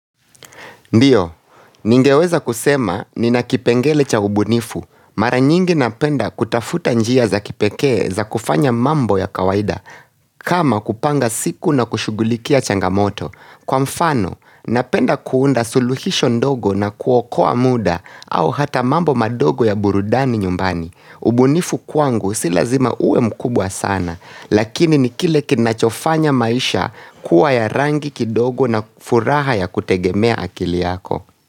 Ndiyo, ningeweza kusema ni nakipengele cha ubunifu. Mara nyingi napenda kutafuta njia za kipekee za kufanya mambo ya kawaida kama kupanga siku na kushugulikia changamoto. Kwa mfano, napenda kuunda suluhisho ndogo na kuokoa muda au hata mambo madogo ya burudani nyumbani. Ubunifu kwangu silazima uwe mkubwa sana, lakini ni kile kinachofanya maisha kuwa ya rangi kidogo na furaha ya kutegemea akili yako.